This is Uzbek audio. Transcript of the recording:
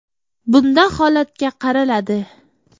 Bunda holatga qaraladi.